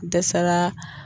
Dɛsɛra